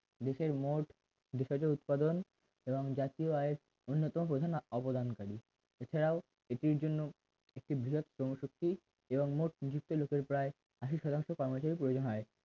দেশের মোট বিষয়টির উৎপাদন এবং জাতীয় আয়ের অন্যতম প্রধান অবদানকারী এছাড়াও এটির জন্য একটি বৃহৎত্তম সত্যি এবং মোট নিযুক্ত প্রায় আশি শতাংশ কর্মচারীর প্রয়োজন হয়